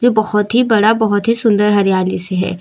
बहोत ही बड़ा बहोत ही सुंदर हरियाली सी है।